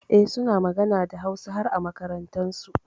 Eh, suna magana da Hausa har a makarantunsu.